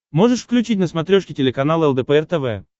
можешь включить на смотрешке телеканал лдпр тв